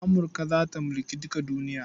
Amurka za ta mulki duka duniya.